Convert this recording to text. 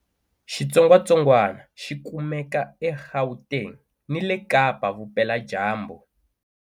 Xitsongwatsongwana xi kumeka eGauteng ni le Kapa-Vupeladyambu.